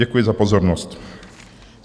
Děkuji za pozornost.